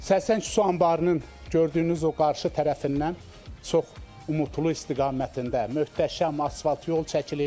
Sərsəng su anbarının gördüyünüz o qarşı tərəfindən çox Umudlu istiqamətində möhtəşəm asfalt yol çəkilib.